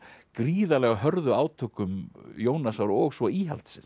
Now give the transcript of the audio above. gríðarlega hörðu átökum Jónasar og svo íhaldsins